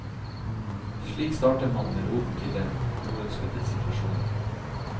Slik starter man med roten til den uønskede situasjonen.